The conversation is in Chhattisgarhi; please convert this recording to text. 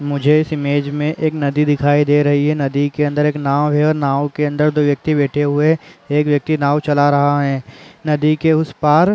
मुझे इस इमेज में एक नदी दिखाई दे रही है नदी के अंदर एक नाव है और नावँके अंदर दो व्यक्ति बैठे हुए है एक व्यक्ति नावँ चला रहा है नदी के उस पार--